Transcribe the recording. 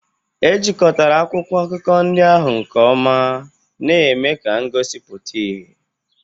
Ejikotara akwụkwọ akụkọ ndị ahụ nke ọma, na-eme ka ngosi pụta ìhè.